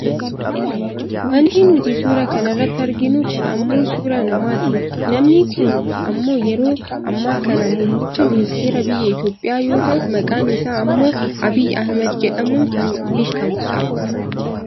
wanti nuti suuraa kana irratti arginu kun ammoo suuraa namaaati. namni kun ammoo yeroo ammaa kana muummicha ministeeraa biyya Itoopiyaa yoo ta'u maqaan isaa ammoo Abiyyi Ahimad jedhamuun kan beekkamudha.